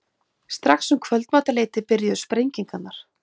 Strax um kvöldmatarleytið byrjuðu sprengingarnar.